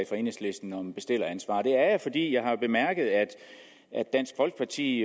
fra enhedslisten om bestilleransvar det er jeg fordi jeg har bemærket at dansk folkeparti i